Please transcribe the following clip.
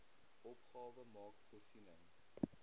opgawe maak voorsiening